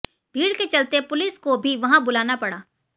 भीड़ के चलते पुलिस को भी वहां बुलाना पड़ा